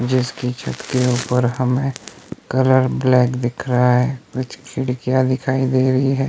जिसके छत के ऊपर हम हैं कलर ब्लैक दिख रहा है कुछ खिड़कियां दिखाई दे रही हैं।